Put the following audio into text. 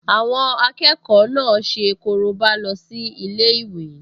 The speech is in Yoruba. Àwọn akẹ́kọ̀ọ náà ṣe korobá lọ sí ilé-ìwé